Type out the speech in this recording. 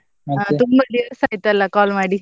ತುಂಬಾ ದಿವಸ ಆಯ್ತಲ್ಲ call ಮಾಡಿ.